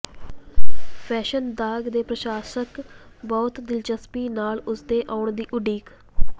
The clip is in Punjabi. ਫੈਸ਼ਨ ਦਾਗ ਦੇ ਪ੍ਰਸ਼ੰਸਕ ਬਹੁਤ ਦਿਲਚਸਪੀ ਨਾਲ ਉਸ ਦੇ ਆਉਣ ਦੀ ਉਡੀਕ